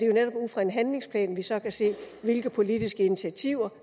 jo netop ud fra en handlingsplan vi så kan se hvilke politiske initiativer